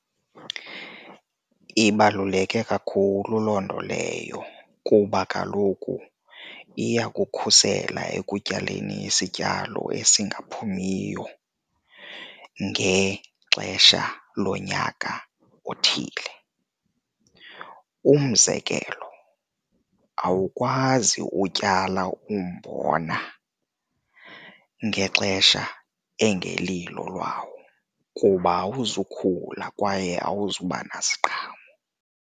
Ibaluleke kakhulu loo nto leyo kuba kaloku iyakukhusela ekutyaleni isityalo esingaphumiyo ngexesha lonyaka othile. Umzekelo awukwazi utyala umbona ngexesha engelilo lwawo kuba awuzukula kwaye awuzuba naziqhamo.